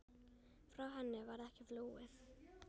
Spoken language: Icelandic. Frá henni varð ekki flúið.